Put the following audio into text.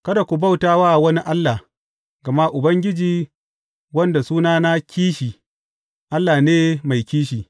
Kada ku bauta wa wani allah, gama Ubangiji, wanda sunansa Kishi, Allah ne mai kishi.